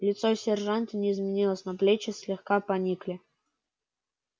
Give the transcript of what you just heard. лицо сержанта не изменилось но плечи слегка поникли